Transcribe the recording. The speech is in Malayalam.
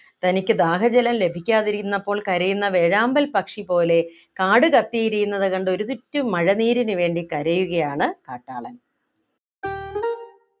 തനിക്കു ദാഹജലം ലഭിക്കാതിരുന്നപ്പോൾ കരയുന്ന വേഴാമ്പൽ പക്ഷി പോലെ കാട് കത്തിയെരിയുന്നത് കണ്ടു ഒരിറ്റു മഴനീരിനു വേണ്ടി കരയുകയാണ് കാട്ടാളൻ